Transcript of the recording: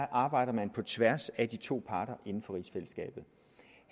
arbejder på tværs af de to parter inden for rigsfællesskabet